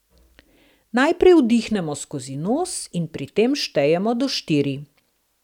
Najprej vdihnemo skozi nos in pri tem štejemo do štiri.